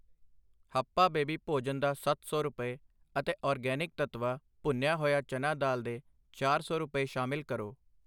Hapa baby ਭੋਜਨ ਦਾ ਸੱਤ ਸੌ ਰੁਪਏ, ਅਤੇ ਆਰਗੈਨਿਕ ਤੱਤਵਾ ਭੁੰਨਿਆ ਹੋਇਆ ਚਨਾ ਦਾਲ ਦੇ ਚਾਰ ਸੌ ਰੁਪਏ, ਸ਼ਾਮਿਲ ਕਰੋ।